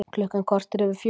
Klukkan korter yfir fjögur